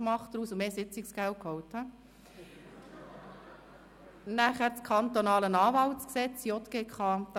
Sie haben in den Sessionen immer, auch an den Wochenenden, ein offenes Ohr für uns.